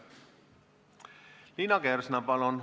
Liina Kersna, palun!